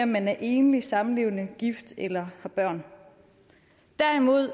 man er enlig samlevende gift eller har børn derimod